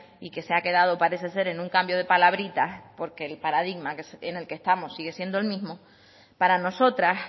y que se ha quedado parece ser en un cambio de palabritas porque el paradigma en el que estamos sigue siendo el mismo para nosotras